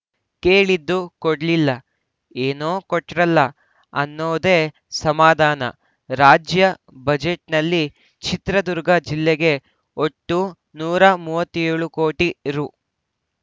ಕೇಳಿದ್ದು ಕೊಡ್ಲಿಲ್ಲ ಏನೋ ಕೊಟ್ರಲ್ಲ ಅನ್ನೋದೇ ಸಮಾಧಾನ ರಾಜ್ಯ ಬಜೆಟ್‌ನಲ್ಲಿ ಚಿತ್ರದುರ್ಗ ಜಿಲ್ಲೆಗೆ ಒಟ್ಟು ನೂರ ಮೂವತ್ಯೋಳು ಕೋಟಿ ರು